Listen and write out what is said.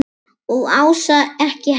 Og Ása ekki heldur.